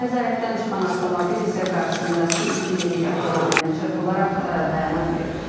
Nəzarətdən çıxan avtomobil isə qarşısındakı iki minik avtomobilinə çırpılaraq dayana bilib.